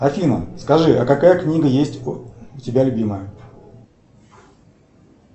афина скажи а какая книга есть у тебя любимая